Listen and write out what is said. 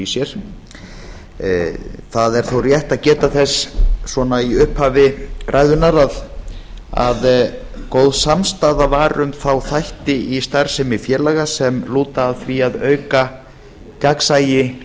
sér það er þó rétt að geta þess í upphafi ræðunnar að góð samstaða var um þá þætti í starfsemi félaga sem lúta að því að auka gagnsæi